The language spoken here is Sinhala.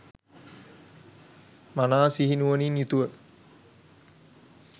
මනා සිහි නුවණින් යුතුව